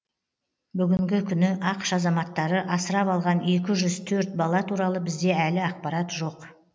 бүгінгі күні ақш азаматтары асырап алған екі жүз төрт бала туралы бізде әлі ақпарат жоқ